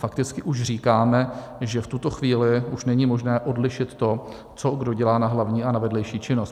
Fakticky už říkáme, že v tuto chvíli už není možné odlišit to, co kdo dělá na hlavní a na vedlejší činnost.